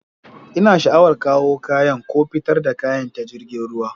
Ina sha'awar kawo kayan ko fitar da kaya ta jiragen ruwa